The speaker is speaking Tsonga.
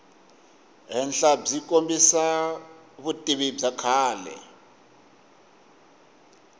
henhlabyi kombisa vutivi bya kahle